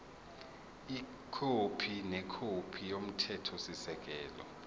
ikhophi nekhophi yomthethosisekelo